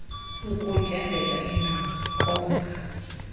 ukutyabeka iindonga konga